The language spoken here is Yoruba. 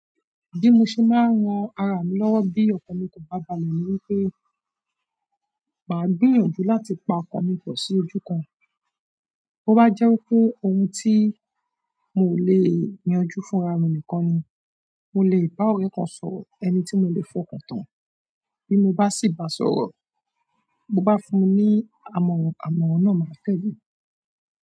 Bí mo ṣe má ràn ara mi lọwọ bí ọkan mi kò bá balẹ̀ ní wípé má gbìyànjú láti pa ọkan mi pọ sí ojú kan to bá jẹ́ wípé òun tí mò lè yanjú fún ara mi nìkan ni, mò lè bá ọ̀rẹ́ kan sọ̀rọ̀, ẹni tí mò lè fọkàntán. Bí mo bá sì bá sọ̀rọ̀, bó bá fún mi ní amọran, amọran náà má tẹle.